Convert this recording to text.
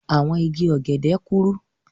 Àwọn igi ọ̀gẹ̀dẹ̀ kúrú.